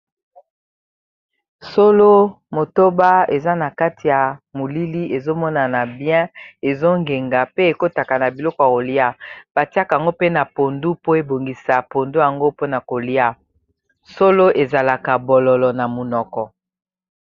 Solo motoba eza na kati ya molili ezomonana bien ezongenga pe ekotaka na biloko ya kolia batiaka yango mpe na pondu po ebongisa pondu yango mpona kolia solo ezalaka bololo na munoko